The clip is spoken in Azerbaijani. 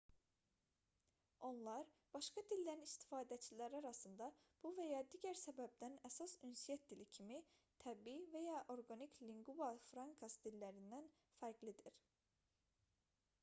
onlar başqa dillərin istifadəçiləri arasında bu və ya digər səbəbdən əsas ünsiyyət dili kimi təbii və ya orqanik lingua francas dillərindən fərqlidir